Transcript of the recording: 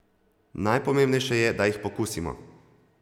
Najpomembnejše je, da jih pokusimo.